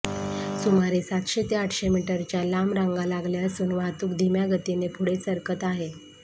सुमारे सातशे ते आठशे मीटरच्या लांब रांगा लागल्या असून वाहतूक धीम्या गतीने पुढे सरकत आहे